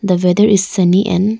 The weather is sunny and --